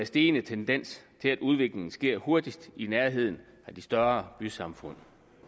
stigende tendens til at udviklingen sker hurtigst i nærheden af de større bysamfund